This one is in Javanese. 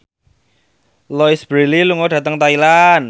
Louise Brealey lunga dhateng Thailand